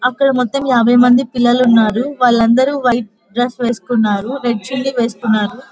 అక్కడ మొత్తం యాభై మంది పిల్లలు ఉన్నారు. వాళ్ళందరూ వైట్ డ్రస్ వేసుకున్నారు రెడ్ చున్నీ వేసుకున్నారు.